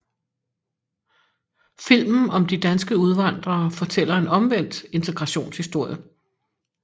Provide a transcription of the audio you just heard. Filmen om de danske udvandrere fortæller en omvendt integrationshistorie